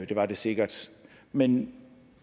det var det sikkert men